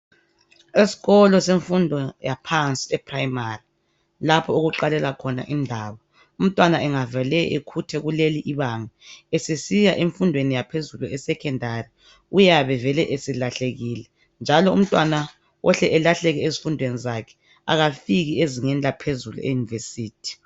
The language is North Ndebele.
Esikolo semfundo yaphansi eprimary lapho okuqalela khona indaba umntwana engavele ekhuthe kuleli ibanga esesiya emfundweni yaphezulu esecondary uyabe esevele eselahlekile njalo umntwana ohle elahleke ezifundweni zakhe akafiki ezingeni laphezulu eyenivesithi.